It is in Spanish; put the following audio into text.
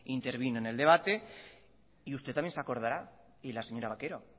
intervino en el debate y usted también se acordará y la señora vaquero